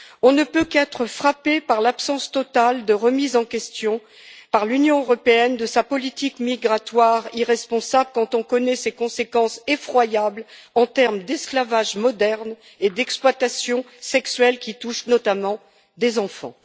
On ne peut qu'être frappé par l'absence totale de remise en question, par l'Union européenne, de sa politique migratoire irresponsable quand on connaît ses conséquences effroyables en termes d'esclavage moderne et d'exploitation sexuelle, qui touchent notamment des enfants.